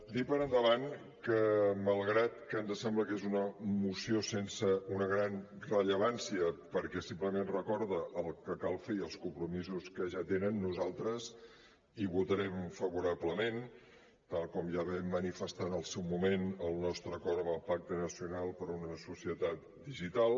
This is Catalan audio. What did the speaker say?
dir per endavant que malgrat que ens sembla que és una moció sense una gran rellevància perquè simplement recorda el que cal fer i els compromisos que genera nosaltres hi votarem favorablement tal com ja vam manifestar en el seu moment el nostre acord amb el pacte nacional per una societat digital